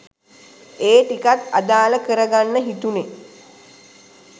ඒ ටිකත් අදාල කර ගන්න හිතුනෙ.